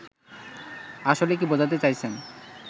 আসলে কী বোঝাতে চাইছেন